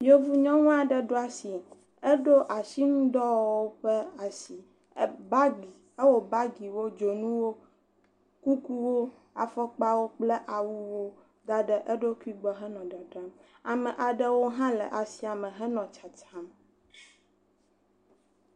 Yevu nyɔnu aɖe ɖo asi eɖo asinudɔwɔwɔwo ƒe asi e bagi ewɔ bagiwo, dzonuwo, kukuwo, afɔkpawo kple awuwo da ɖe eɖokui gbɔ henɔ dadram. Ame aɖewo hã le asia me henɔ tsatsam.